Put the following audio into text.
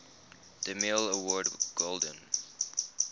demille award golden